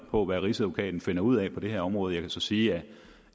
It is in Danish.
på hvad rigsadvokaten finder ud af på det her område jeg kan så sige